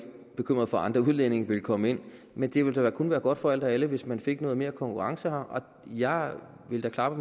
bekymret for at andre udlændinge vil komme ind men det vil da kun være godt for alle hvis vi fik noget mere konkurrence her jeg vil da klappe